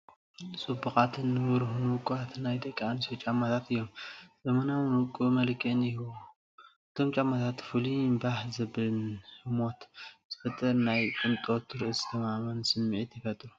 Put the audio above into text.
ጽቡቓት፡ ንብሩህን ውቁባትን ናይ ደቂ ኣንስትዮ ጫማታት እዮም። ዘመናውን ውቁብን መልክዕ ይህቦም። እቶም ጫማታት ፍሉይን ባህ ዘብልን ህሞት ዝፈጥር ናይ ቅንጦትን ርእሰ ተኣማንነትን ስምዒት ይፈጥሩ።